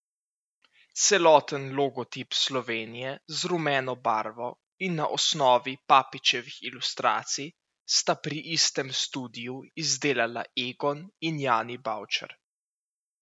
Celoten logotip Slovenije z rumeno barvo in na osnovi Papičevih ilustracij sta pri istem studiu izdelala Egon in Jani Bavčer.